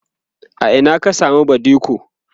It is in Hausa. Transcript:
a Ina ka samu badiko?